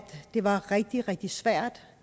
det var rigtig rigtig svært